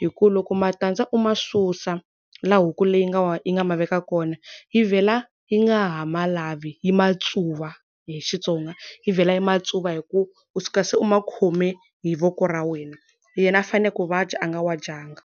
Hikuva loko matandza u ma susa laha huku leyi nga yi nga ma veka kona, yi vhela yi nga ha ma lavi. Yi ma tsuva hi xitsonga. Yi vhela yi ma tsuva hikuva u suka se u ma khome hi voko ra wena. Yena a fanele ku wa dya a nga wa dyanga.